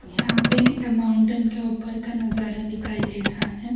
यहां पे माउंटेन के ऊपर का नजारा दिखाई दे रहा है।